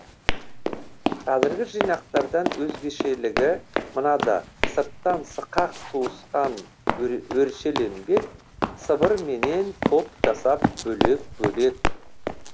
қазіргі жинақтардан өзгешелігі мынада сырттан сықақ туысқан өршеленбек сыбырменен топ жасап бөлек бөлек